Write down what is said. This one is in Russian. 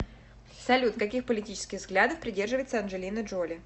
салют каких политических взглядов придерживается анджелина джоли